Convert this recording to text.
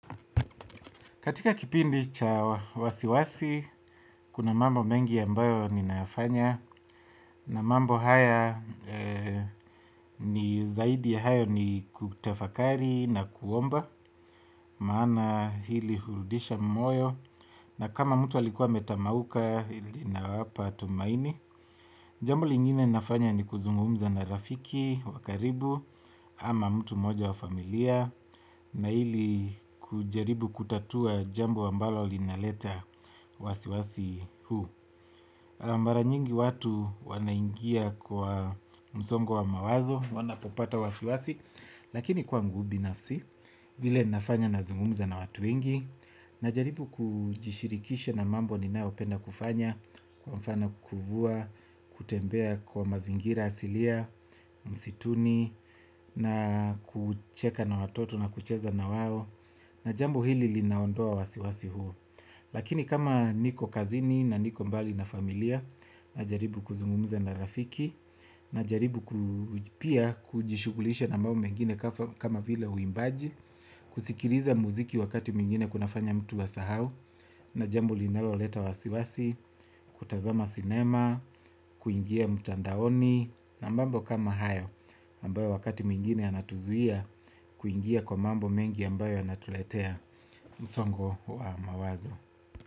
Katika kipindi chawasiwasi, kuna mambo mengi ambayo ninafanya na mambo haya ni zaidi ya hayo ni kutafakari na kuomba maana hili hurudisha moyo na kama mtu alikuwa ametamauka ina wapa tumaini. Jambo lingine nafanya ni kuzungumza na rafiki, wakaribu, ama mtu mmoja wa familia, na ili kujaribu kutatua jambo ambalo linaleta wasiwasi huu. Mara nyingi watu wanaingia kwa msongo wa mawazo, wanapopata wasiwasi, lakini kwangubi nafsi, vile nafanya na zungumza na watu wengi. Na jaribu kujishirikisha na mambo ninayo penda kufanya kwa mfano kuvua, kutembea kwa mazingira asilia, msituni na kucheka na watoto na kucheza na wao na jambo hili linaondoa wasiwasi huu lakini kama niko kazini na niko mbali na familia na jaribu kuzungumza na rafiki na jaribu kujishughulisha na mambo mengine kama vile uimbaji kusikiliza muziki wakati mwingine kuna fanya mtu a sahau na jambo linalo leta wasiwasi kutazama cinema kuingia mtandaoni na mambo kama hayo ambayo wakati mwingine yanatuzuia kuingia kwa mambo mengi ambayo yanatuletea msongo wa mawazo.